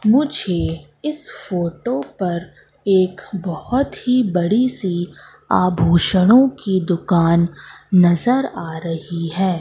मुझे इस फोटो पर एक बहुत ही बड़ी सी आभूषणों की दुकान नजर आ रही है।